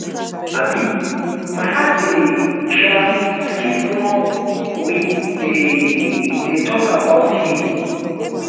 um my heart dey um skip wen we dey dey talk about him